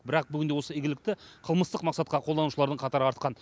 бірақ бүгінде осы игілікті қылмыстық мақсатқа қолданушылардың қатары артқан